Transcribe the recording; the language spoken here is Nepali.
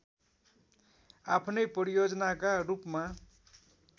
आफ्नै परियोजनाका रूपमा